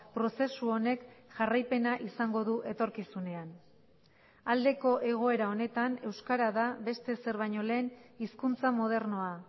prozesu honek jarraipena izango du etorkizunean aldeko egoera honetan euskara da beste ezer baino lehen hizkuntza modernoa